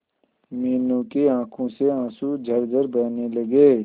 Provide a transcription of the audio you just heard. मीनू की आंखों से आंसू झरझर बहने लगे